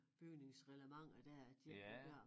Bygningsreglementer dér at de ikke må gøre